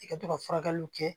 I ka to ka furakɛliw kɛ